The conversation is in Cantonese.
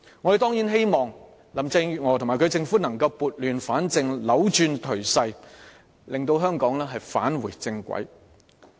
我們當然希望林鄭月娥及其政府能撥亂反正，扭轉頹勢，令香港重回正軌。